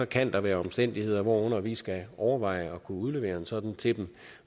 kan der være omstændigheder hvorunder vi skal overveje at kunne udlevere en sådan til